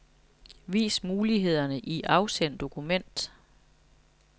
Vis mulighederne i afsend dokument.